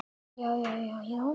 Nú sé keppt við Rússa.